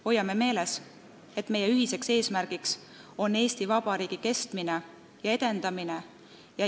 Hoiame meeles, et meie ühine eesmärk on Eesti Vabariigi kestmine ja edendamine.